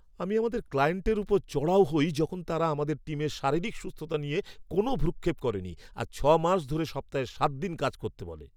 আমি আমাদের ক্লায়েন্টের ওপর চড়াও হই যখন তারা আমাদের টিমের শারীরিক সুস্থতা নিয়ে কোনো ভ্রূক্ষেপ করেনি আর ছ'মাস ধরে সপ্তাহে সাতদিন কাজ করতে বলে!